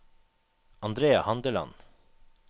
Andrea Handeland